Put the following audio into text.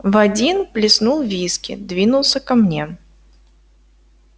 в один плеснул виски двинулся ко мне